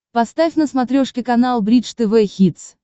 поставь на смотрешке канал бридж тв хитс